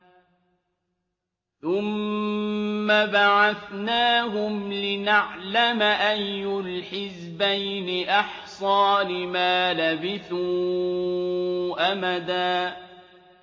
ثُمَّ بَعَثْنَاهُمْ لِنَعْلَمَ أَيُّ الْحِزْبَيْنِ أَحْصَىٰ لِمَا لَبِثُوا أَمَدًا